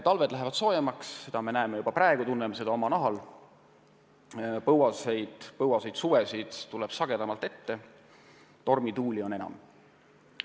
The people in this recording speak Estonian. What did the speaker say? Talved lähevad soojemaks – seda me näeme juba praegu, tunneme omal nahal –, põuaseid suvesid tuleb sagedamini ette, tormituult on enam.